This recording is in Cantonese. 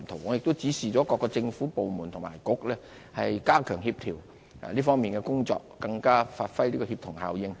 我已指示各個政府部門和政策局加強協調這方面的工作，發揮更大協同效應。